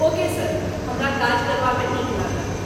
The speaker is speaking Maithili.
ओके सर, हमरा काज करबामे नीक लागत।